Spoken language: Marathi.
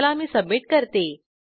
चला मी सबमिट करते